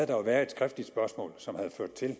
der været et skriftligt spørgsmål som havde ført til at